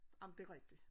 Ej men det rigtigt